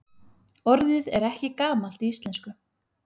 Orðið er ekki gamalt í íslensku.